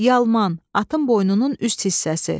Yalman, atın boynunun üst hissəsi.